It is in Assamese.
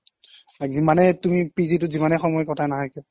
আৰু যিমানেই তুমি PG টোত যিমানেই সময় কটাই নাহা কিয়